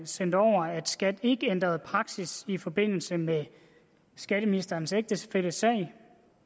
sendt over at skat ikke ændrede praksis i forbindelse med statsministerens ægtefælles sag